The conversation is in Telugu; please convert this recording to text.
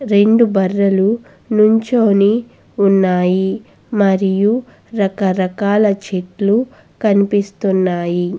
రెండు బర్రెలు నిల్చొని ఉన్నాయి మరియు రకరకాల చెట్లు కనిపిస్తున్నాయి.